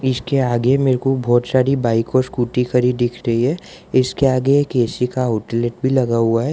इसके आगे मेरे को बहोत सारी बाइक व स्कूटी खड़ी दिख रही है इसके आगे एक ए_सी का आउटलेट भी लगा हुआ है।